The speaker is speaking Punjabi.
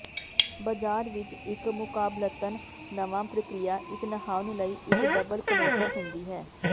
ਬਾਜ਼ਾਰ ਵਿਚ ਇਕ ਮੁਕਾਬਲਤਨ ਨਵਾਂ ਪ੍ਰਕਿਰਿਆ ਇਕ ਨਹਾਉਣ ਲਈ ਇਕ ਡਬਲ ਕਨੋਸਰ ਹੁੰਦੀ ਹੈ